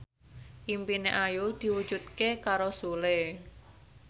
impine Ayu diwujudke karo Sule